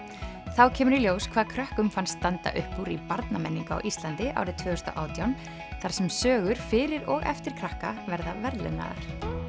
þá kemur í ljós hvað krökkum fannst standa upp úr í barnamenningu á Íslandi árið tvö þúsund og átján þar sem sögur fyrir og eftir krakka verða verðlaunaðar